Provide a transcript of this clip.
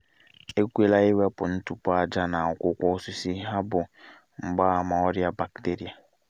ekwela iwepu ntụpọ aja n’akwụkwọ osisi ha bụ mgbaàmà ọrịa bakteria